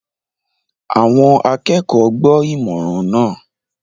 Àwọn akẹ́kọ̀ọ́ gbọ́ ìmọ̀ràn náà